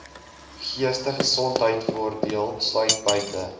geestesgesondheidvoordeel sluit buite